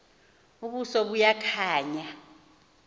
ubuso buya khanya